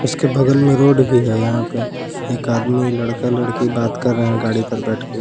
उसके बगल में रोड भी है यहां पे एक आदमी लड़का लड़की बात कर रहे हैं गाड़ी पर बैठ के।